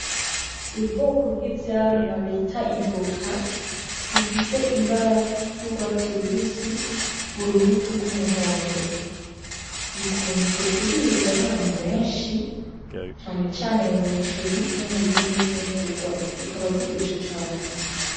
Ubwoko bw'ivyamwa bita ivoka, bifise ibara ry'urwatsi rubisi, urubuto rw'umuhondo, bikunzwe kuribwa n'abantu benshi cane cane mu muceri no muzindi mfugurwa zikaba ziryoshe cane.